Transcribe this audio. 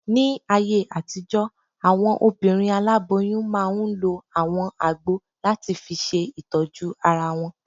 Ní ayé àtijọ́, àwọn obìnrin aláboyún máa n lo àwọn àgbo láti fi ṣe ìtọ́jú ara wọn